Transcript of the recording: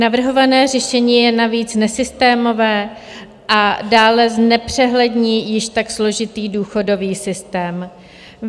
Navrhované řešení je navíc nesystémové a dále znepřehlední již tak složitý důchodový systém.